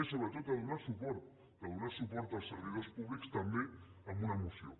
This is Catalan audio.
i sobretot de donar suport als servidors públics també amb una moció